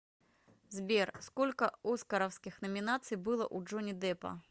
сбер сколько оскаровских номинаций было у джонни деппа